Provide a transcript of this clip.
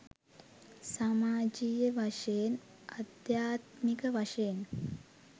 සමාජයීය වශයෙන් අධ්‍යාත්මික වශයෙන්